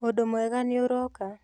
ũndũ mwega nĩũroka